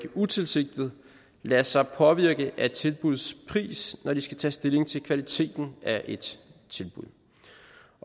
utilsigtet lader sig påvirke af tilbudsprisen når de skal tage stilling til kvaliteten af et tilbud